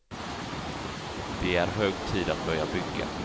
Det är hög tid att börja bygga.